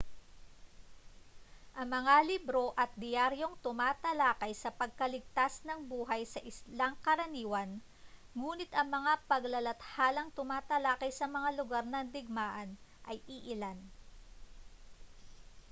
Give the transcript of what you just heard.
ang mga libro at diyaryong tumatalakay sa pagkaligtas ng buhay sa ilang ay karaniwan ngunit ang mga paglalathalang tumatalakay sa mga lugar ng digmaan ay iilan